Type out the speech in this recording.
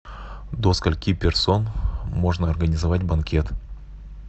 до скольки персон можно организовать банкет